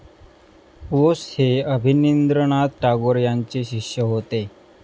बोस हे अभिनिन्द्रनाथ टागोर यांचे शिष्य होते.